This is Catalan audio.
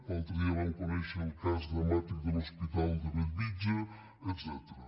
l’altre dia vam conèixer el cas dramàtic de l’hospital de bellvitge etcètera